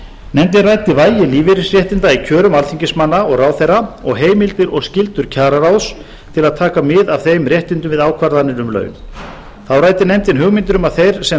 nefndin ræddi vægi lífeyrisréttinda í kjörum alþingismanna og ráðherra og heimildir og skyldur kjararáðs til að taka mið af þeim réttindum við ákvarðanir um laun þá ræddi nefndin hugmyndir um að þeir sem